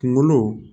Kungolo